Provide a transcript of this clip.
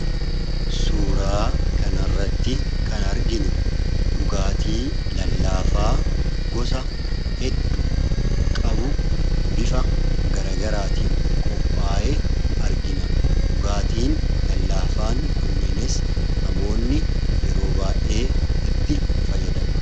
Suuraa kana irratti kan arginu dhugaatii lallaafaa gosa hedduu qabu bifa gara garagaraatiin qophaa'ee argina. Dhugaatii lallaafaa kanneenittis namoonni yeroo baay'ee itti fayyadamu.